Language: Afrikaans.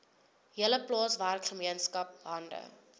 hele plaaswerkergemeenskap hande